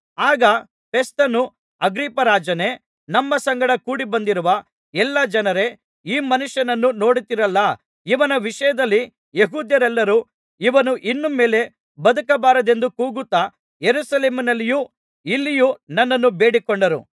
ಆಗ ಫೆಸ್ತನು ಅಗ್ರಿಪ್ಪರಾಜನೇ ನಮ್ಮ ಸಂಗಡ ಕೂಡಿಬಂದಿರುವ ಎಲ್ಲಾ ಜನರೇ ಈ ಮನುಷ್ಯನನ್ನು ನೋಡುತ್ತೀರಲ್ಲಾ ಇವನ ವಿಷಯದಲ್ಲಿ ಯೆಹೂದ್ಯರೆಲ್ಲರೂ ಇವನು ಇನ್ನು ಮೇಲೆ ಬದುಕಬಾರದೆಂದು ಕೂಗುತ್ತಾ ಯೆರೂಸಲೇಮಿನಲ್ಲಿಯೂ ಇಲ್ಲಿಯೂ ನನ್ನನ್ನು ಬೇಡಿಕೊಂಡರು